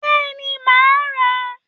Bẹ́ẹ̀ni, màá rà á